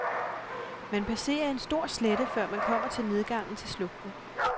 Man passerer en stor slette, før man kommer til nedgangen til slugten.